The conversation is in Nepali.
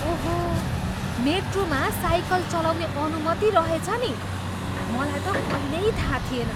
ओहो! मेट्रोमा साइकल चलाउने अनुमति रहेछ नि। मलाई त कहिल्यै थाहा थिएन।